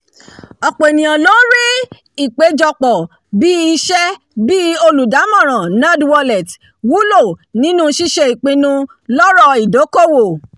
ọ̀pọ̀ ènìyàn ló ń rí ìpéjọpọ̀ bíi iṣẹ́ bi olùdámọ̀ràn nerdwallet wúlò nínú ṣíṣe ìpinnu lóró ìdókòwò